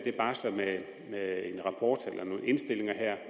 barsler med med en rapport eller nogle indstillinger